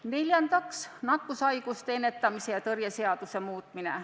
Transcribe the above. Neljandaks, nakkushaiguste ennetamise ja tõrje seaduse muutmine.